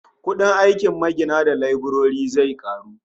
Kudin aikin magina da leburori zai karu